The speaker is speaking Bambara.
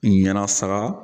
Yen na saga